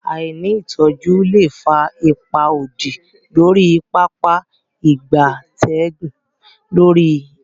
Aini itoju le fa ipa odi lori Pápá ìgbatẹ́gùn orile-ede Nigeria.